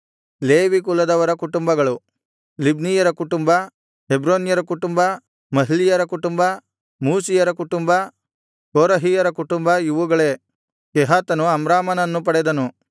Levi ಕುಲದವರ ಕುಟುಂಬಗಳು ಲಿಬ್ನೀಯರ ಕುಟುಂಬ ಹೆಬ್ರೋನ್ಯರ ಕುಟುಂಬ ಮಹ್ಲೀಯರ ಕುಟುಂಬ ಮೂಷೀಯರ ಕುಟುಂಬ ಕೋರಹಿಯರ ಕುಟುಂಬ ಇವುಗಳೇ ಕೆಹಾತನು ಅಮ್ರಾಮನನ್ನು ಪಡೆದನು